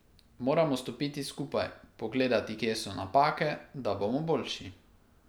Moramo stopiti skupaj, pogledati, kje so napake, da bomo boljši.